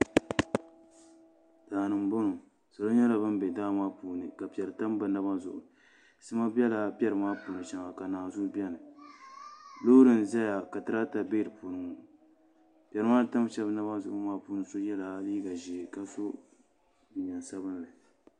Daani n boŋo so nyɛla ŋun bɛ daa maa puuni ka piɛri tam o naba zuɣu sima nyɛla din bɛ piɛri maa puuni shɛli ni ka naazuu biɛni loori n ʒɛya ka dirava bɛ di puuni piɛri maa ni tam so naba zuɣu maa puuni so yɛla liiga ʒiɛ ka so jinjɛm sabinli